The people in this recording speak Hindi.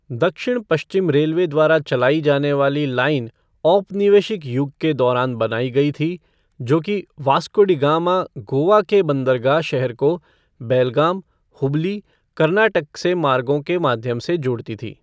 दक्षिण पश्चिम रेलवे द्वारा चलाई जाने वाली लाइन औपनिवेशिक युग के दौरान बनाई गई थी, जो कि वास्को डी गामा, गोवा के बंदरगाह शहर को बेलगाम, हुबली, कर्नाटक से मार्गो के माध्यम से जोड़ती थी।